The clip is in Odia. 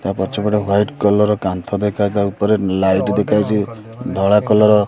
ତା ପଛପଟେ ୱାଇଟ କଲର୍ ର କାନ୍ଥ ଦେଖାଯାଉଛି ତା ଉପରେ ଲାଇଟ୍ ଦେଖାଯାଉଛି ଧଳା କଲର୍ର ର।